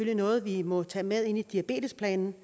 er noget vi må tage med ind i diabetesplanen